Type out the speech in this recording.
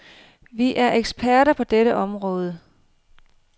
Vi er eksperter på dette område.